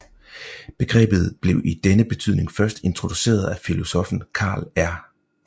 Begrebet blev i denne betydning først introduceret af filosoffen Karl R